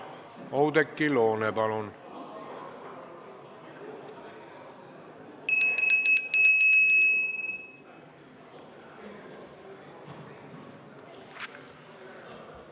Oudekki Loone, palun!